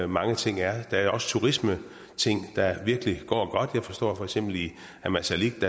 mange ting er der er også turismeting der virkelig går godt jeg forstår at for eksempel i ammassalik